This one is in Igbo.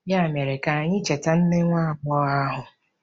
Ya mere, ka anyị cheta nne nwa agbọghọ ahụ.